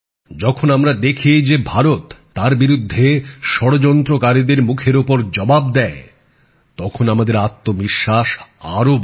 যখন আমরা দেখি যে ভারত তার বিরুদ্ধে ষড়যন্ত্রকারীদের মুখের ওপর জবাব দেয় তখন আমাদের আত্মবিশ্বাস আরো বাড়ে